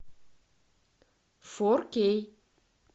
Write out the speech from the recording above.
форкей